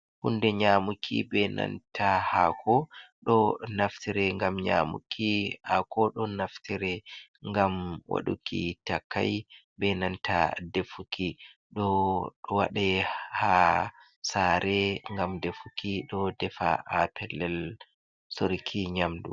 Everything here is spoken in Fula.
Hunde nyamuki be nanta hako, ɗo ɗo naftire ngam nyamuki hako, ɗo naftire ngam waɗuki takai be nanta defuki, ɗo waɗe ha sare ngam defuki ɗo defa ha pellel soruki nyamdu.